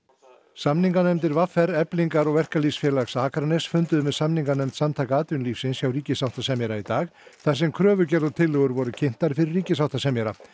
samninganefndir v r Eflingar og Verkalýðsfélags Akraness funduðu með samninganefnd Samtaka atvinnulífsins hjá ríkissáttasemjara í dag þar sem kröfugerð og tillögur voru kynntar fyrir ríkissáttasemjara